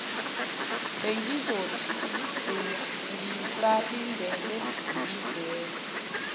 bengizothi ngisalindeni ngivele